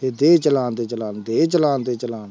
ਤੇ ਦੇਹ ਚਲਾਣ ਤੇ ਚਲਾਣ, ਦੇਹ ਚਲਾਣ ਤੇ ਚਲਾਣ